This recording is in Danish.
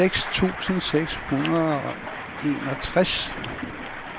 seks tusind seks hundrede og enogtres